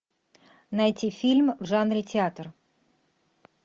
найти фильм в жанре театр